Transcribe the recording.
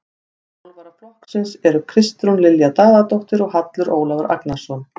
Þjálfara flokksins eru Kristrún Lilja Daðadóttir og Hallur Ólafur Agnarsson.